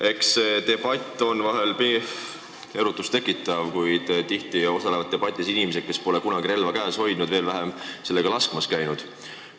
Eks see debatt ole vahel erutust tekitav, kuid tihti osalevad selles debatis inimesed, kes pole kunagi relva käes hoidnud, veel vähem sellega laskmas käinud.